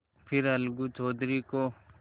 फिर अलगू चौधरी को